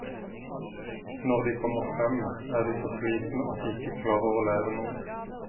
Når de kommer frem, er de så slitne at de ikke klarer å lære noe.